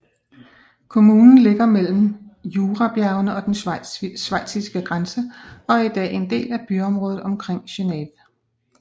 Kommunen ligger mellem Jurabjergene og den schweiziske grænse og er i dag en del af byområdet omkring Geneve